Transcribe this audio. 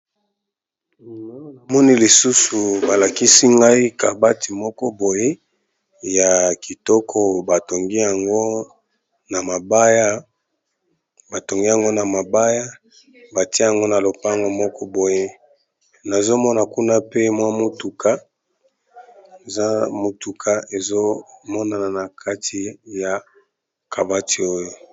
Namoni lisusu balakisi ngai kabati moko boye ya kitoko batongi yango na mabaya batia yango na lopango moko boye nazomona kuna pe mwa mwa mutuka ezo monana na kati ya kabati oyo.